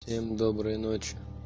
всем доброй ночи